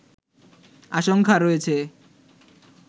আশঙ্কা রয়েছে